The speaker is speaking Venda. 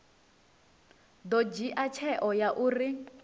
ḓo dzhia tsheo ya uri